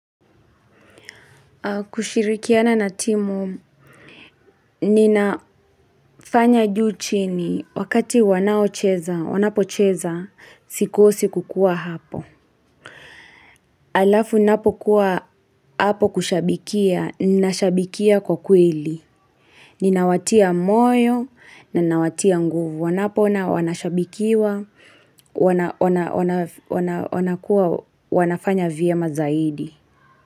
Kushirikiana na timu, ninafanya juu chini wakati wanao cheza, wanapo cheza, sikuosi kukuwa hapo. Alafu ninapokuwa hapo kushabikia, ninashabikia kwa kweli. Ninawatia moyo, ninawatia nguvu, wanapoona wanashabikiwa, wana wanakuwa wanafanya vyema zaidi.